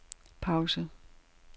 pause